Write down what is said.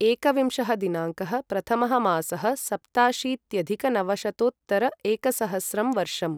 एकविंशः दिनाङ्कः प्रथमः मासः सप्ताशीत्यधिकनवशतोत्तर एकसहस्रं वर्षम्